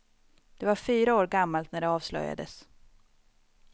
Det var fyra år gammalt när det avslöjades.